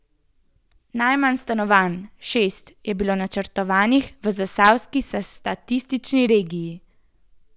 Najmanj stanovanj, šest, je bilo načrtovanih v zasavski statistični regiji.